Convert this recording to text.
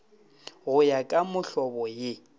go ya ka mohlobo ye